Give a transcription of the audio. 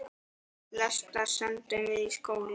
Flesta sendum við í skóla.